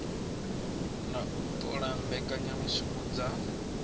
na u ṱola mbekanyamushumo dza